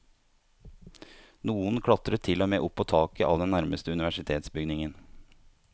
Noen klatret til og med opp på taket av den nærmeste universitetsbygningen.